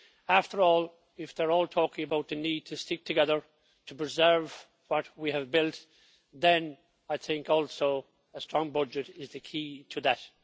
After all, if they are all talking about the need to stick together to preserve what we have built, then I think also a strong budget is the key to that.